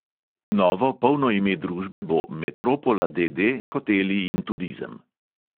Novo, polno ime družbe bo metropola, D D, hoteli in turizem.